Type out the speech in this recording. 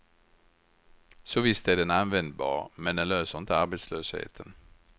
Så visst är den användbar, men den löser inte arbetslösheten.